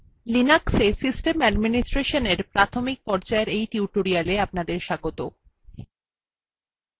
linux system অ্যাডমিনিস্ট্রেশনএর প্রাথমিক পর্যায়ের এই tutorial আপনাদের স্বাগত